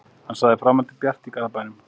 Hann sagði framhaldið bjart í Garðabænum